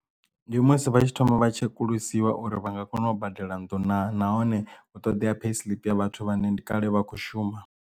Ndi musi vha tshi thoma vha tshekulusiwa uri vha nga kona u badela nnḓu na nahone hu ṱoḓea payslip ya vhathu vhane ndi kale vha khou shuma.